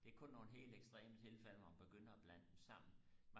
det er kun nogle helt ekstreme tilfælde man begynder og blande dem sammen